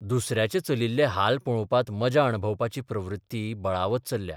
दुसऱ्याचे चलिल्ले हाल पळोवपांत मजा अणभवपाची प्रवृत्ती बळावत चल्ल्या.